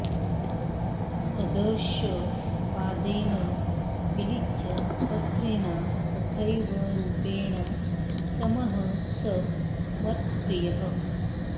अदश पादेन विलिख्य पत्रिणा तथैव रूपेण समः स मत्प्रियः